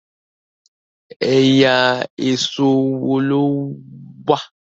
ẹyà Èṣó wọ ló wá?